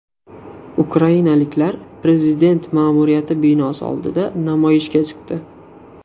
Ukrainaliklar prezident ma’muriyati binosi oldida namoyishga chiqdi.